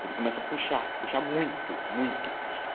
элемент пущ почему то